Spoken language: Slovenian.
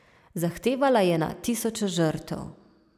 Zahtevala je na tisoče žrtev.